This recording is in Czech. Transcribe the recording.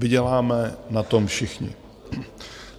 Vyděláme na tom všichni.